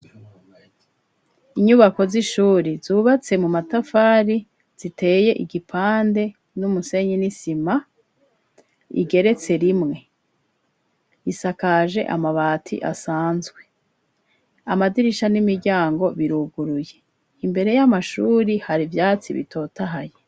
Inyubako z'ishuri zubatse mu matafari ziteye igipande n'umusenyi n'isima igeretse rimwe isakaje amabati asanzwe amadirisha n'imiryango biruguruye imbere y'amashuri hari vyatsi bitotahaye.